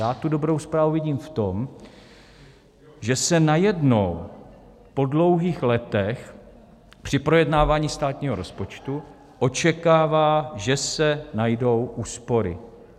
Já tu dobrou zprávu vidím v tom, že se najednou po dlouhých letech při projednávání státního rozpočtu očekává, že se najdou úspory.